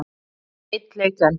Einn leik enn?